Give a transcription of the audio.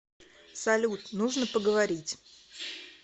салют нужно поговорить